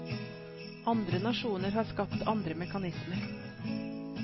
Andre nasjoner har skapt andre mekanismer.